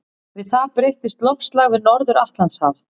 Við það breytist loftslag við Norður-Atlantshaf.